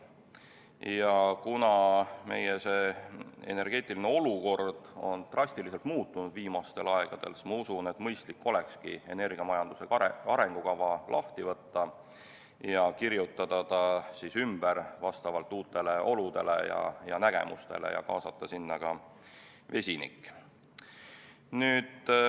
Ja kuna meie energeetiline olukord on viimasel ajal drastiliselt muutunud, siis ma usun, et mõistlik olekski energiamajanduse arengukava lahti võtta ja kirjutada see ümber vastavalt uutele oludele ja nägemustele ning kaasata sinna ka vesinik.